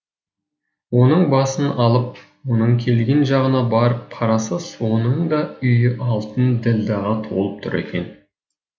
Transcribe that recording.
оның басын алып оның келген жағына барып қараса соның да үйі алтын ділдәға толып тұр екен